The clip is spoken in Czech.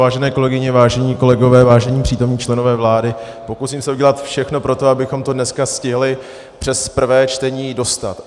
Vážené kolegyně, vážení kolegové, vážení přítomní členové vlády, pokusím se udělat všechno pro to, abychom to dneska stihli přes prvé čtení dostat.